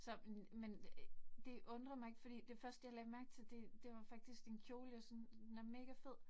Så men men det undrer mig ikke, fordi det første jeg lagde mærke til, det det var faktisk din kjole, jeg synes den er megafed